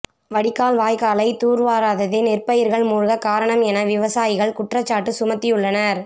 வடிகால் வாய்க்காலை தூர்வாராததே நெற்பயிர்கள் மூழ்க காரணம் என விவசாயிகள் குற்றச்சாட்டு சுமத்தியுள்ளனர்